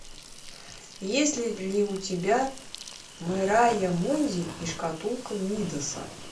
есть ли у тебя мэрайа мунди и шкатулка мидаса